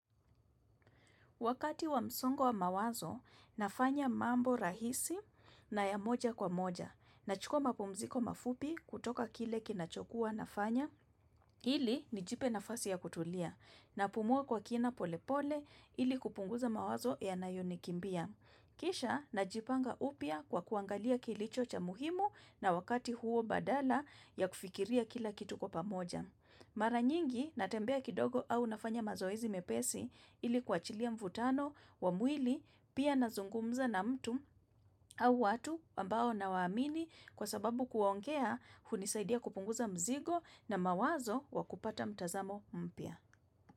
Wakati wa msongo wa mawazo, nafanya mambo rahisi na ya moja kwa moja. Nachukua mapumziko mafupi kutoka kile kinachokua nafanya. Ili nijipe nafasi ya kutulia. Napumua kwa kina polepole ili kupunguza mawazo yanayonikimbia. Kisha najipanga upya kwa kuangalia kilicho cha muhimu na wakati huo badala ya kufikiria kila kitu kwa pamoja. Mara nyingi natembea kidogo au nafanya mazoezi mepesi ili kuachilia mvutano wa mwili pia nazungumza na mtu au watu ambao nawaamini kwa sababu kuongea hunisaidia kupunguza mzigo na mawazo wa kupata mtazamo mpya.